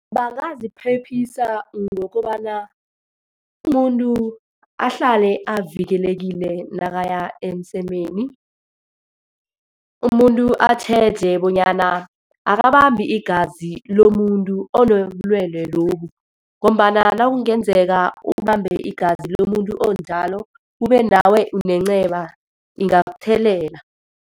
Bangaziphephisa ngokobana umuntu ahlale avikelekile nakaya emsemeni, umuntu atjheje bonyana akabambi igazi lomuntu onobulwele lobu. Ngombana nakungenzeka ubambe igazi lomuntu onjalo, kube nawe unenceba, ingakuthelela.